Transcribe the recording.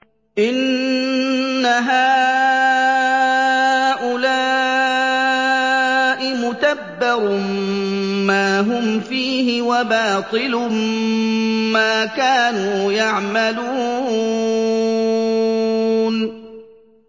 إِنَّ هَٰؤُلَاءِ مُتَبَّرٌ مَّا هُمْ فِيهِ وَبَاطِلٌ مَّا كَانُوا يَعْمَلُونَ